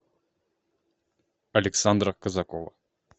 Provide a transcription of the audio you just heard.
александра казакова